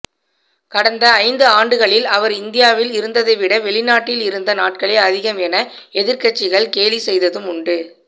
கடந்த ஐந்து ஆண்டுகளில் அவர் இந்தியாவில் இருந்ததைவிட வெளிநாட்டில் இருந்த நாட்களே அதிகம் என எதிர்க்கட்சிகள் கேலி செய்ததும் உண்டு